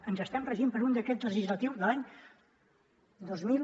ens estem regint per un decret legislatiu de l’any dos mil